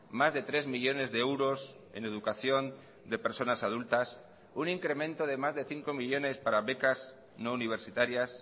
más de tres millónes de euros en educación de personas adultas un incremento de más de cinco millónes para becas no universitarias